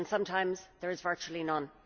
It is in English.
sometimes, there is virtually none.